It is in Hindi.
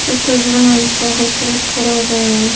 इस तस्वीर में एक पाहु प्ल खड़ा है ।